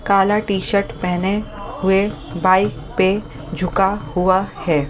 काला टी-शर्ट पहने हुए बाइक पे झुका हुआ है।